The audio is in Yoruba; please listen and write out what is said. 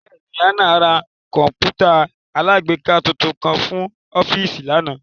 Bẹẹni, Hannah ra kọǹpútà alágbèéká tuntun kan fun ọfiisi lana